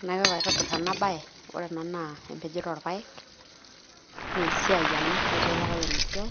Enaiko pee aitobirr ena baye, ore ena naa empejoto orpaek naa esiai ena, ketii ele payian ina siai